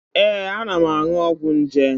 Ee, ana m aṅụ ọgwụ nje.